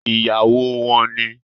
Ìyàwó wọn ni